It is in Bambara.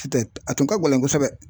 a tun ka gɛlɛn kosɛbɛ.